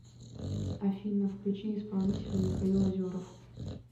афина включи исполнителя михаил озеров